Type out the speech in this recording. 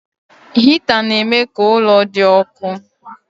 Hịta na-eme ka ụlọ dị ọkụ.